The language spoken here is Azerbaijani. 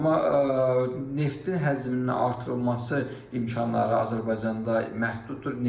Amma neftin həcminin artırılması imkanları Azərbaycanda məhduddur.